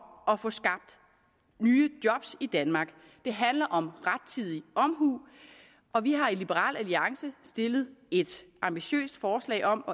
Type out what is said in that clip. at få skabt nye job i danmark det handler om rettidig omhu og vi har i liberal alliance stillet et ambitiøst forslag om